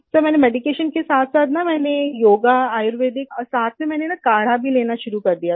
sir मैंने medication के साथसाथ ना मैंने योगा आयुर्वेदिक और मैं ये सब स्टार्ट किया और साथ में ना मैंने काढ़ा भी लेना शुरू कर दिया था